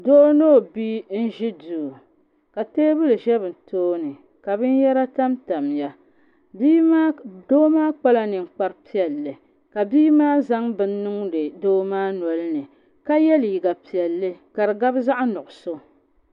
Doo ni o bia n ʒi duu ka teebuli ʒɛ bi tooni ka binyɛra tamtamya doo maa kpala ninkpari piɛla ka bia maa zaŋ bini niŋdi doo maa nolini ka yɛ liiga piɛlli ka di gabi zaɣ nuɣso